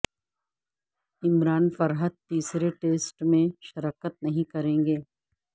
عمران فرحت تیسرے ٹیسٹ میں شرکت نہیں کریں گے